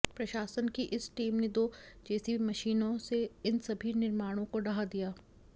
प्रशासन की इस टीम ने दो जेसीबी मशीनों से इन सभी निर्माणों को ढहा दिया